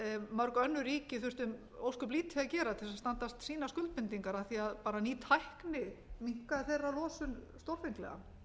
mörg önnur ríki þurftu ósköp lítið að gera til þess að standast sínar skuldbindingar af því að bara ný tækni minnkaði þeirra losun stórfenglega